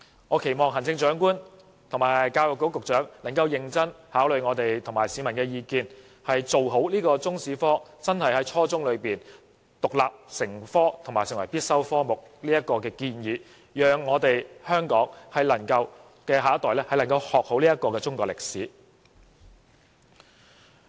我期望行政長官和教育局局長能夠認真考慮我們及市民的意見，完善中史科，將中國歷史在初中階段獨立成科，並成為必修科目，讓香港的下一代能夠學好中國歷史。